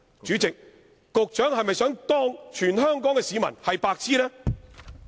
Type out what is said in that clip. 主席，局長是否想把全港市民當作"白癡"？